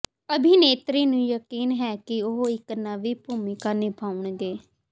ਅਭਿਨੇਤਰੀ ਨੂੰ ਯਕੀਨ ਹੈ ਕਿ ਉਹ ਇਕ ਨਵੀਂ ਭੂਮਿਕਾ ਨਿਭਾਉਣਗੇ